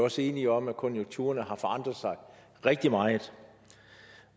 også enige om at konjunkturerne har forandret sig rigtig meget